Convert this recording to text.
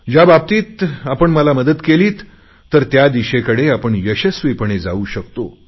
ज्याबाबतीत आपण मला मदत केलीत तर त्या दिशेकडे आपण यशस्वीपणे जाऊ शकतो